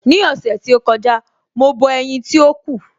Ní ọ̀sẹ̀ tí ó kọjá, mo bọ ẹ̀yin tí ó kù.